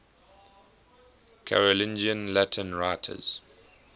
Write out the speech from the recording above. carolingian latin writers